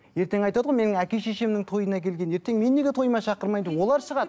ертең айтады ғой менің әке шешемнің тойына келген ертең мен неге тойыма шақырмайды олар шығады